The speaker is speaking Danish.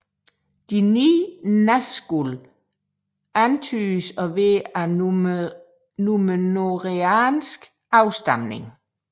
De 9 Nazgûl antydes at være af númenoreansk afstamning